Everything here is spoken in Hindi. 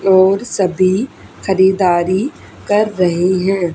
और सभी खरीदारी कर रहे है।